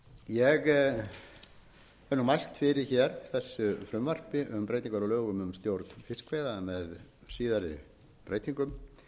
hef nú mælt fyrir hér þessu frumvarpi um breytingar á lögum um stjórn fiskveiða með síðari breytingum